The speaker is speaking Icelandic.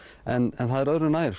en það er öðru nær